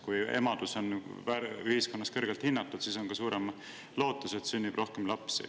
Kui emadus on ühiskonnas kõrgelt hinnatud, siis on ka suurem lootus, et sünnib rohkem lapsi.